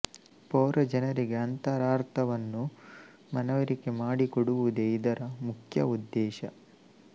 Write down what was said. ಪೌರಜನರಿಗೆ ಅಂತ ರಾರ್ಥವನ್ನು ಮನವರಿಕೆ ಮಾಡಿಕೊಡುವುದೇ ಇದರ ಮುಖ್ಯ ಉದ್ದೇಶ